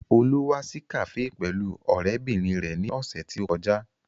Olú wá sí kafe pẹ̀lú ọ̀rẹ́bìnrin rẹ ní ọ̀sẹ̀ tí ó kọjá